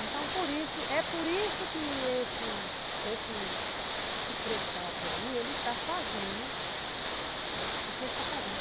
Então, é por isso que esse Frei Cappio aí, ele está fazendo o que ele está fazendo.